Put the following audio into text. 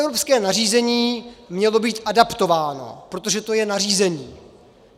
Evropské nařízení mělo být adaptováno, protože to je nařízení.